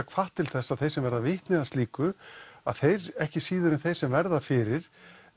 hvatt til þess að þeir sem verða vitni að slíku að þeir ekki síður en þeir sem verða fyrir